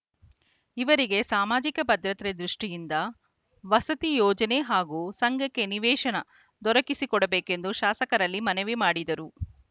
ಇವರಿಗೆ ಸಾಮಾಜಿಕ ಭದ್ರತೆ ದೃಷ್ಟಿಯಿಂದ ವಸತಿ ಯೋಜನೆ ಹಾಗೂ ಸಂಘಕ್ಕೆ ನಿವೇಶನ ದೊರಕಿಸಿ ಕೊಡಬೇಕೆಂದು ಶಾಸಕರಲ್ಲಿ ಮನವಿ ಮಾಡಿದರು